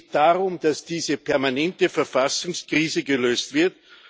Es geht darum, dass diese permanente Verfassungskrise gelöst wird.